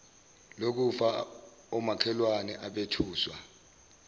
lokufa omakhelwane abethuswa